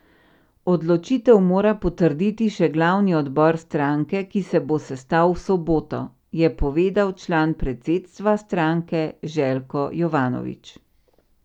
Odločitev mora potrditi še glavni odbor stranke, ki se bo sestal v soboto, je povedal član predsedstva stranke Željko Jovanović.